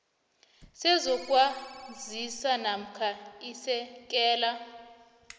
sezokwazisa namkha isekela